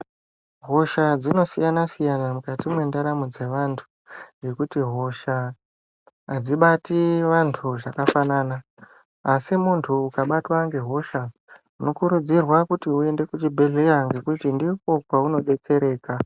Hosha dzino siyana siyana mukati mwe ndaramo dze vantu nekuti hosha adzibati vantu zvakafanana asi muntu ukabatwa nge hosha uno kurudzirwa kuti uende ku chibhedhleya ngekuti ndiko kwauno detsereka.